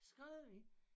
Skrevet i